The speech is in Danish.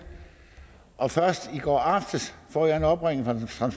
og først i går aftes får jeg en opringning fra